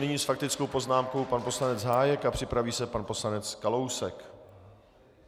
Nyní s faktickou poznámkou pan poslanec Hájek a připraví se pan poslanec Kalousek.